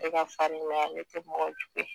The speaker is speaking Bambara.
Ale ka farin ale tɛ mɔgɔ jugu ye.